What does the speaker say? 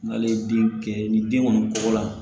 N'ale ye den kɛ ni den kɔni kɔgɔ la